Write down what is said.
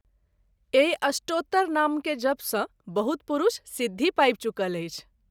एहि अष्टोत्तरनाम के जप सँ बहुत पुरूष सिद्धि पाबि चुकल अछि।